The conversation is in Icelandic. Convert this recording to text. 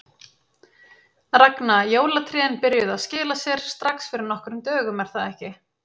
Ragna, jólatrén byrjuðu að skila sér strax fyrir nokkrum dögum er það ekki?